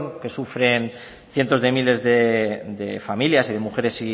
que sufren cientos de miles de familias y de mujeres